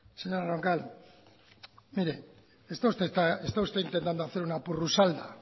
señora roncal mire está usted intentando hacer una porrusalda